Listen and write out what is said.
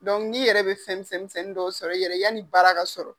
n'i yɛrɛ be fɛn misɛn misɛn misɛnnin dɔw sɔrɔ i yɛrɛ yani baara ka sɔrɔ.